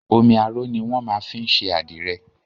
Omi aró ni wọ́n máa fin ń ṣe àdìrẹ.